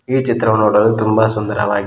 ಈ ಚಿತ್ರವು ನೋಡಲು ತುಂಬ ಸುಂದರವಾಗಿ--